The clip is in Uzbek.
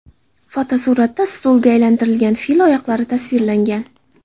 Fotosuratda stulga aylantirilgan fil oyoqlari tasvirlangan.